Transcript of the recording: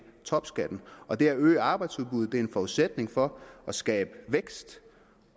topskatten og det at øge arbejdsudbuddet er en forudsætning for at skabe vækst